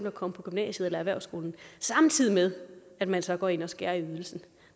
at komme på gymnasiet eller erhvervsskolen samtidig med at man så går ind og skærer ned i ydelsen